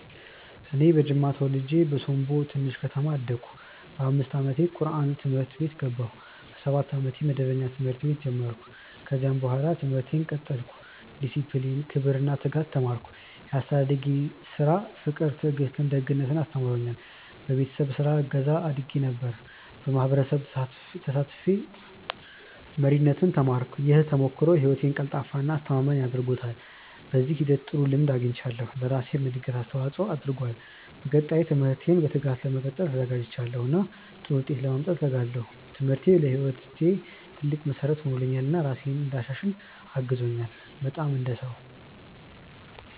እኔ በጅማ ተወልጄ በሶምቦ ትንሽ ከተማ አደግሁ። በ5 ዓመቴ ቁርአን ትምህርት ቤት ገባሁ። በ7 ዓመቴ መደበኛ ትምህርት ቤት ጀመርሁ። ከዚያ በኋላ ትምህርቴን ቀጠልሁ። ዲሲፕሊን፣ ክብር እና ትጋት ተማርሁ። ያስተዳደጌ ስራ ፍቅር ትዕግስት ደግነት አስተምሮኛል። በቤተሰብ ስራ እገዛ አድርጌ ነበር። በማህበረሰብ ተሳትፌ መሪነት ተማርሁ። ይህ ተሞክሮ ህይወቴን ቀልጣፋ እና አስተማማኝ አድርጎታል። በዚህ ሂደት ጥሩ ልምድ አግኝቻለሁ፣ ለራሴም እድገት አስተዋፅኦ አድርጓል። በቀጣይ ትምህርቴን በትጋት ለመቀጠል ተዘጋጅቻለሁ እና ጥሩ ውጤት ለማምጣት እተጋለሁ። ትምህርቴ ለህይወቴ ትልቅ መሠረት ሆኖልኛል እና ራሴን እንድሻሽል አግዞኛል። በጣም። እንደ ነው።